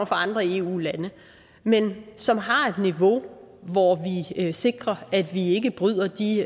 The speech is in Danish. fra andre eu lande men som har et niveau hvor vi sikrer at vi ikke bryder de